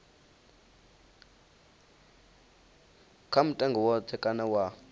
kha mutengo woṱhe kana wa